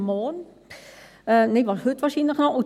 Nein, wahrscheinlich noch heute.